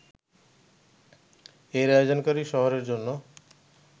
এর আয়োজনকারী শহরের জন্য